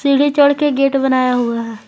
सीढ़ी छोड़ के गेट बनाया हुआ है।